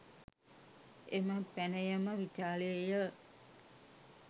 එම පැනයම විචාළේ ය